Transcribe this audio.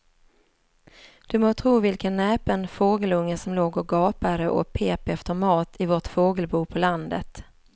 Du må tro vilken näpen fågelunge som låg och gapade och pep efter mat i vårt fågelbo på landet.